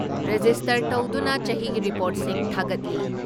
Register ꯇꯧꯗꯨꯅ ꯆꯍꯤꯒꯤ ꯔꯤꯄꯣꯔꯠꯁꯤꯡ ꯊꯥꯒꯠꯂꯤ ꯫